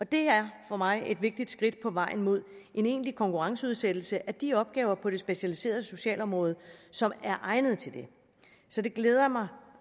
det er for mig et vigtigt skridt på vejen mod en egentlig konkurrenceudsættelse af de opgaver på det specialiserede socialområde som er egnede til det så det glæder mig